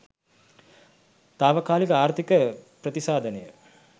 තාවකාලික ආර්ථික ප්‍රතිසාධනය